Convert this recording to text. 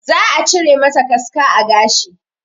Za a cire mata kaska a gashi